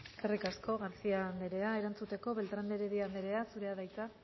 eskerrik asko garcía anderea erantzuteko beltrán de heredia anderea zurea da hitza